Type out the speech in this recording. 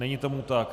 Není tomu tak.